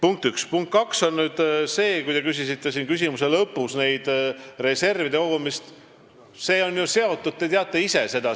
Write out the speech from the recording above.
Oma küsimuse lõpus te küsisite reservide kogumise kohta.